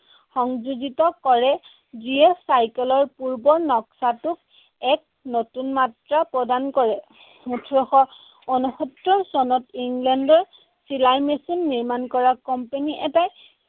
সংযোজিত কৰে, যিয়ে চাইকেলৰ পূৰ্বৰ নক্সাটোক এক নতুন মাত্ৰা প্ৰদান কৰে। ওঠৰশ ঊনসত্তৰ চনত ইংলেণ্ডৰ চিলাই মেচিন নিৰ্মাণ কৰা company এটাই